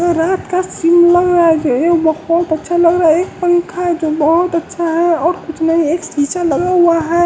रात का सीन लग रहा है ये बहुत अच्छा लग रहा है एक पंखा है जो बहुत अच्छा है और कुछ नहीं एक शीशा लगा हुआ है।